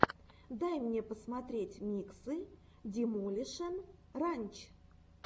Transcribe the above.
дай мне посмотреть миксы демолишен ранч